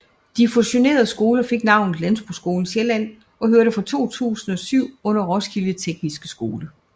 De fusionerede skoler fik navnet Landbrugsskolen Sjælland og hørte fra 2007 under Roskilde Tekniske Skole